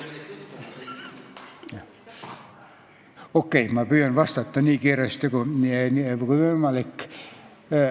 Okei, ma püüan vastata nii kiiresti kui võimalik.